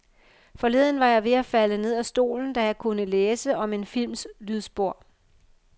Forleden var jeg ved at falde ned af stolen, da jeg kunne læse om en films lydspor.